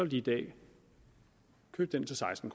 de i dag købe den til seksten